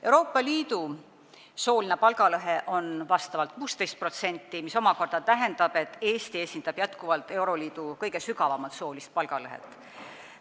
Euroopa Liidu sooline palgalõhe on 16%, mis omakorda tähendab, et Eesti esindab jätkuvalt euroliidu kõige suuremat soolist palgalõhet.